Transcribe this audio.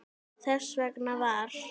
Þess vegna var